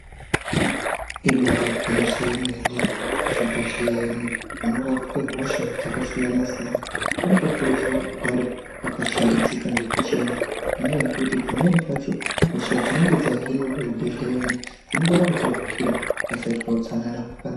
Ibaari gwinyiso yemene mene kuzvibhehlera ino unorapwe hosha dzakabaasiyana siyana kunotokurudzirwa kuzikugare kwakashambidzika nekuchena. Ngendaa yekuti pamweni pacho hosha dzinenge dzahinwa kuzvibhehlera ino dzinokone kutapukira pakasaitwa utsanana hwakakwana.